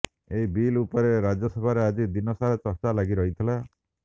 ଏହି ବିଲ୍ ଉପରେ ରାଜ୍ୟସଭାରେ ଆଜି ଦିନ ସାରା ଚର୍ଚ୍ଚା ଲାଗି ରହିଥିଲା